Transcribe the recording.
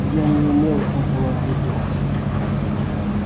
я не имел этого в виду